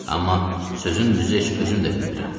Amma sözün düzü heç özüm də bilmirəm.